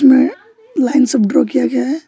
नया लाइन सब ड्रॉ किया गया है।